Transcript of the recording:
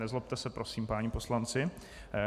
Nezlobte se prosím, páni poslanci.